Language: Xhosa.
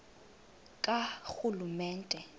karhulumente